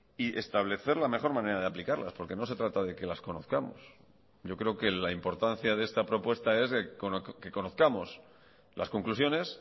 y establecer la mejor manera de aplicarlas porque no se trata de que las conozcamos yo creo que la importancia de esta propuesta es que conozcamos las conclusiones